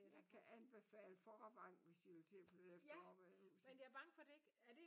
Jeg kan anbefale Vorrevangen hvis I vil til at flytte efter Aarhus